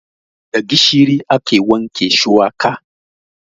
Da gishiri ake wanke shuwaka.